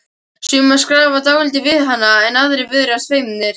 Sumir skrafa dálítið við hana en aðrir virðast feimnir.